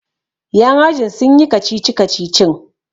yan ajin sun yi kacici-kacicin!